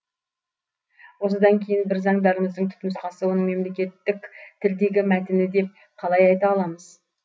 осыдан кейін біз заңдарымыздың түпнұсқасы оның мемлекеттік тілдегі мәтіні деп қалай айта аламыз